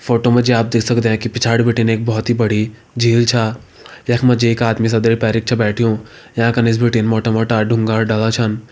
Photo मा जी आप देख सकदे की पिछाड़ी बिटिन एक बहोत ही बड़ी झील छा यख मा जी एक आदमी सदरी पैरिक छ बैठ्यूं यांका नीस बिटिन मोटा मोटा डुंगा अर डाला छन।